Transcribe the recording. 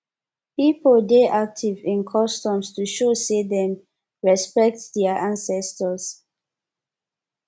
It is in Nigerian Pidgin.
pipo dey active in customs to show say dem respekt dia ancestors